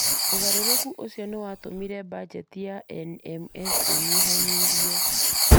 Ũgarũrũku ũcio nĩ watũmire bajeti ya NMS ĩnyihanyihio.